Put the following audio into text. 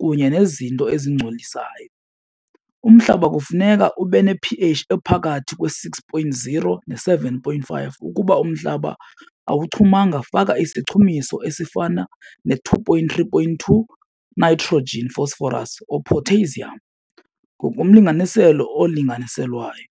kunye nezinto ezingcolisayo. Umhlaba kufuneka ube ne-p_H ephakathi kwe-six point zero ne-seven point five. Ukuba umhlaba awuchumanga, faka isichumiso esifana ne-two point three point two, nitrogen fosforas or potassium ngokomlinganiselo olinganiselwayo.